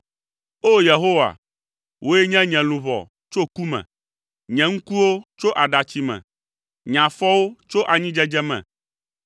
O! Yehowa, wòe ɖe nye luʋɔ tso ku me, nye ŋkuwo tso aɖatsi si me, nye afɔwo tso anyidzedze me;